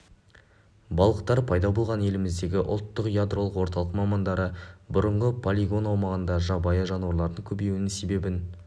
балықтар пайда болған еліміздегі ұлттық ядролық орталық мамандары бұрынғы полигон аумағында жабайы жануарлардың көбеюінің себебін